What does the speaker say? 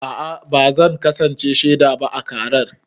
A'a ba zan kasance shaida ba a karar.